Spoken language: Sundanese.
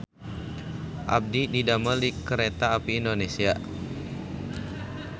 Abdi didamel di Kereta Api Indonesia